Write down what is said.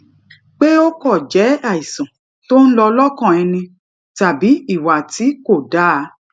pé ó kàn jé àìsàn tó ń lọ lókàn ẹni tàbí ìwà tí kò dáa